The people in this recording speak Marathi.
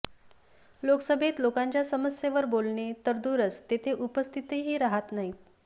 लोकसभेत लोकांच्या समस्येवर बोलणे तर दूरच तेथे उपस्थितही राहत नाहीत